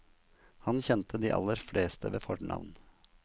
Han kjente de aller fleste ved fornavn.